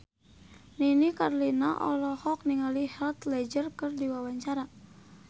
Nini Carlina olohok ningali Heath Ledger keur diwawancara